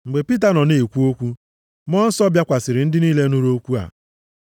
Mgbe Pita nọ na-ekwu okwu, Mmụọ Nsọ bịakwasịrị ndị niile nụrụ okwu a.